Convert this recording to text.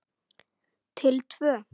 Til tvö.